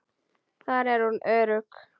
Þar er hún örugg.